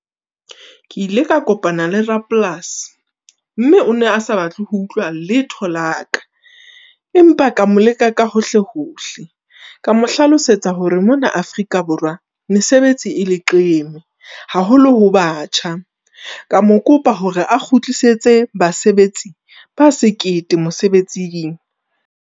Ke ile ka kopana le rapolasi, mme o ne a sa batle ho utlwa letho la ka. Empa ka mo leka ka hohle-hohle ka mo hlalosetsa hore mona Afrika Borwa mesebetsi e leqeme. Haholo ho batjha, ka mo kopa hore a kgutlisetse basebetsi ba sekete mosebetsing.